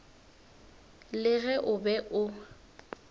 le ge o be o